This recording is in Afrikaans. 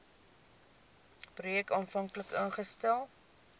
projek aanvanklik ingestel